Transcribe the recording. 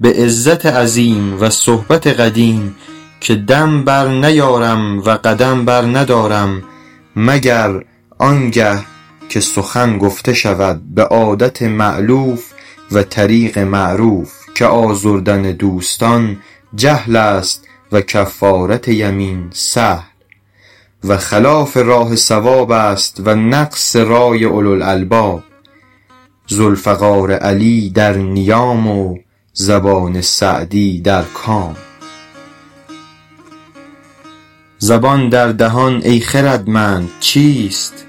به عزت عظیم و صحبت قدیم که دم بر نیارم و قدم بر ندارم مگر آن گه که سخن گفته شود به عادت مألوف و طریق معروف که آزردن دوستان جهل است و کفارت یمین سهل و خلاف راه صواب است و نقص رای اولوالالباب ذوالفقار علی در نیام و زبان سعدی در کام زبان در دهان ای خردمند چیست